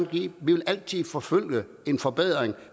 vi vil altid forfølge en forbedring